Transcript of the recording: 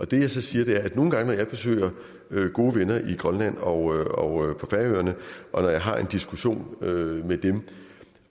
det jeg så siger er at nogle gange når jeg besøger gode venner i grønland og på færøerne og når jeg har en diskussion med med dem